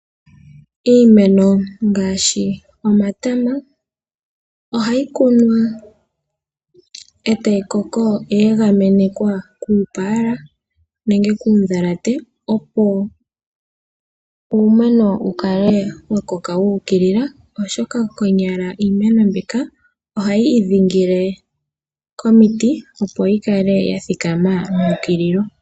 Iimeno ngaashi omatama ohayi kunwa, e tayi koko ye egamenekwa kuupaala nenge kuundhalate, opo uumeno wu kale wa koka wu ukilila, oshoka konyala iimeno mbika ohayi idhingile komiti, opo yi kale ya thikama me ukilila.